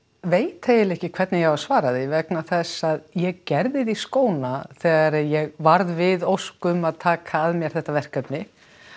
veit eiginlega ekki hvernig ég á að svara því vegna þess að ég gerði því skóna þegar ég varð við ósk um að taka að mér þetta verkefni